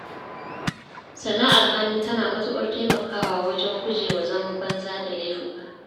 Sana’ar hannu tana matuƙar taimakawa wajen gujewa zaman banza da laifuka.